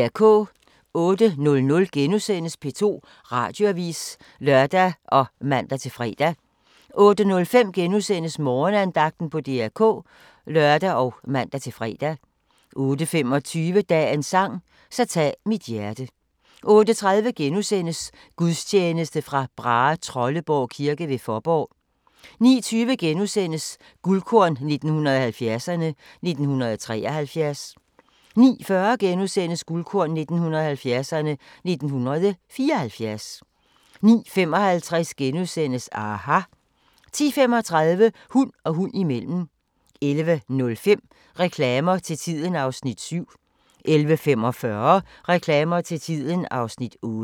08:00: P2 Radioavis *(lør og man-fre) 08:05: Morgenandagten på DR K *(lør og man-fre) 08:25: Dagens sang: Så tag mit hjerte 08:30: Gudstjeneste fra Brahetrolleborg kirke ved Fåborg * 09:20: Guldkorn 1970'erne: 1973 * 09:40: Guldkorn 1970'erne: 1974 * 09:55: aHA! * 10:35: Hund og hund imellem 11:05: Reklamer til tiden (Afs. 7) 11:45: Reklamer til tiden (Afs. 8)